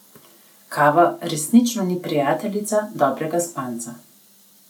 Kava resnično ni prijateljica dobrega spanca.